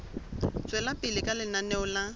tswela pele ka lenaneo la